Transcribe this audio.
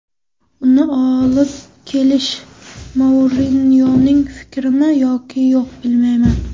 Uni olib kelish Mourinyoning fikrimi yoki yo‘q, bilmayman.